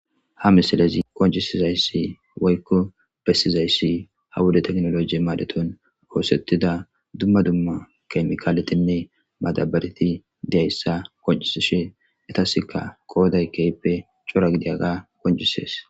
ha misalezi qoncisizayssi woykko bessizayssi ha wuda teknoloji maadetun oosettida dumma dumma kemikaaletinne madabareti deayssa koncisishe etaskka kooday keyppe cora gidiyaga qoncisees